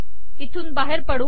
इथून बाहेर पडू